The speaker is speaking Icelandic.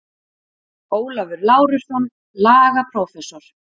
Ólafur Lárusson, lagaprófessor.